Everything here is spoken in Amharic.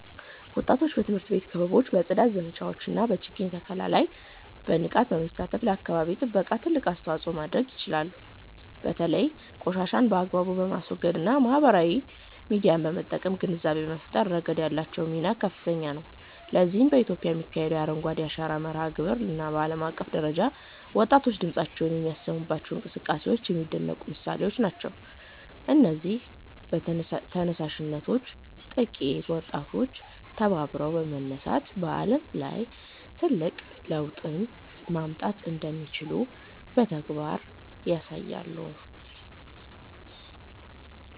ወጣቶች በትምህርት ቤት ክበቦች፣ በጽዳት ዘመቻዎች እና በችግኝ ተከላ ላይ በንቃት በመሳተፍ ለአካባቢ ጥበቃ ትልቅ አስተዋጽኦ ማድረግ ይችላሉ። በተለይም ቆሻሻን በአግባቡ በማስወገድ እና ማህበራዊ ሚዲያን በመጠቀም ግንዛቤ በመፍጠር ረገድ ያላቸው ሚና ከፍተኛ ነው። ለዚህም በኢትዮጵያ የሚካሄደው የ"አረንጓዴ አሻራ" መርሃ ግብር እና በዓለም አቀፍ ደረጃ ወጣቶች ድምፃቸውን የሚያሰሙባቸው እንቅስቃሴዎች የሚደነቁ ምሳሌዎች ናቸው። እነዚህ ተነሳሽነቶች ጥቂት ወጣቶች ተባብረው በመነሳት በዓለም ላይ ትልቅ ለውጥ ማምጣት እንደሚችሉ በተግባር ያሳያሉ